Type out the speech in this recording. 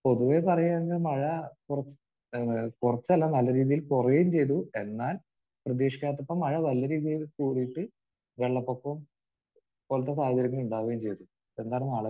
പൊതുവെ പറയുകയാണെങ്കിൽ മഴ കുറച്ച് ഏഹ് കുറച്ചല്ല നല്ല രീതിയിൽ കുറയുകയും ചെയ്തു എന്നാൽ പ്രതീക്ഷിക്കാത്തപ്പോൾ മഴ നല്ല രീതിയിൽ കൂടിയിട്ട് വെള്ളപ്പൊക്കം പോലത്തെ സാധനങ്ങൾ ഉണ്ടാവുകയും ചെയ്തു.